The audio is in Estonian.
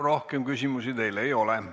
Rohkem küsimusi teile ei ole.